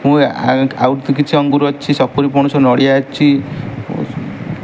ମୁଁ ଆ ଆଉ କିଛି ଅଙ୍ଗୁର ଅଛି ସପୁରୀ ପଣସ ନଡିଆ ଅଛି।